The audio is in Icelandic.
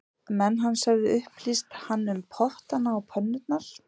Menn hans höfðu upplýst hann um pottana og pönnurnar